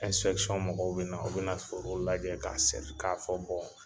mɔgɔw be na, u be na forow lajɛ ka fɔ